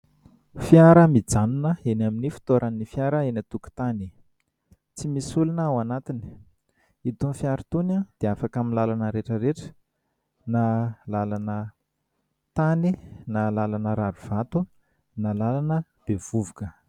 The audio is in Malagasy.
Fiara mijanona eny amin'ny fitoeran'ny fiara eny an- tokotany, tsy misy olona ao anatiny, itony fiara itony dia afaka amin'ny lalana rehetra rehetra na lalana tany na lalana rarivato na lalana be vovoka.